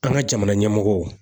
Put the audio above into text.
An ka jamana ɲɛmɔgɔw.